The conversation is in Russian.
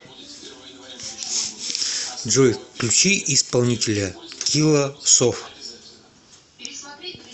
джой включи исполнителя килла соф